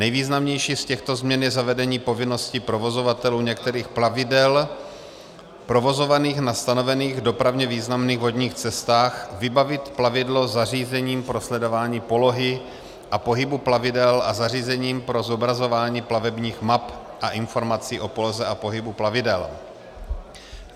Nejvýznamnější z těchto změn je zavedení povinnosti provozovatelů některých plavidel provozovaných na stanovených dopravně významných vodních cestách vybavit plavidlo zařízením pro sledování polohy a pohybu plavidel a zařízením pro zobrazování plavebních map a informací o poloze a pohybu plavidel.